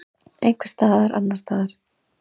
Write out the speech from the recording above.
Einhvers staðar annars staðar.